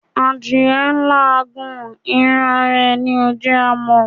Adìyẹ́ ń làágùn, irún ará é ní o jẹ kí a mọ